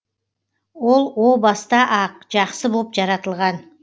ол о баста ақ жақсы боп жаратылған